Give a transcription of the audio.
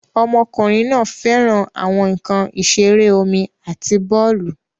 Ọmọkùnrin náà fẹ́ràn àwọn nkan ìṣeré omi àti bọ́ọ̀lù